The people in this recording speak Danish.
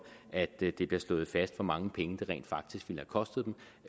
at det bliver slået fast hvor mange penge det rent faktisk ville have kostet dem